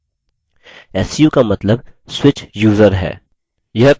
su का मतलब switch user है